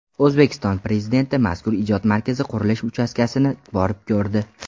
O‘zbekiston Prezidenti mazkur ijod markazi qurilish uchastkasini borib ko‘rdi.